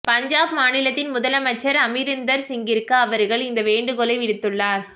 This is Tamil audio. பஞ்சாப் மாநிலத்தின் முதலமைச்சர் அமரிந்தர் சிங்கிற்கு அவர்கள் இந்த வேண்டுகோளை விடுத்துள்ளனர்